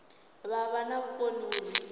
vha vha na vhukoni uri